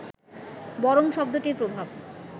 বরং শব্দটির প্রভাব